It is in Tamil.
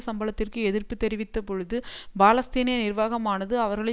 சம்பளத்திற்கு எதிர்ப்பு தெரிவித்த பொழுது பாலஸ்தீனிய நிர்வாகமானது அவர்களை